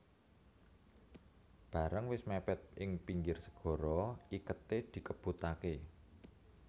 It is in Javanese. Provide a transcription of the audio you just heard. Bareng wis mèpèd ing pinggir segara iketé dikebutaké